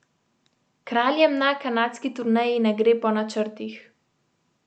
Kraljem na kanadski turneji ne gre po načrtih.